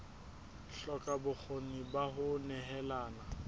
hloka bokgoni ba ho nehelana